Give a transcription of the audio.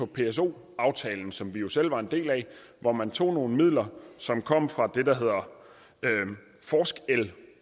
pso aftalen som vi jo selv var en del af hvor man tog nogle midler som kom fra det der hedder forskel